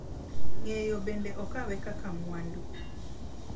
Ng’eyo bende okawe kaka mwandu .